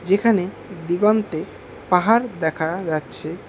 এখানে দিগন্তে পাহাড় দেখা যাচ্ছে।